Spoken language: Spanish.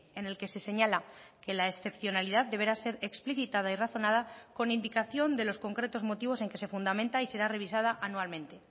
e en el que se señala que la excepcionalidad deberá ser explicitada y razonada con indicación de los concretos motivos en que se fundamenta y será revisada anualmente